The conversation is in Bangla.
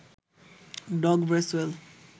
dog Bracewell